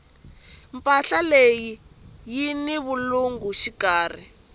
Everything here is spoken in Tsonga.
mpahla leyi yini vulungu xikarhi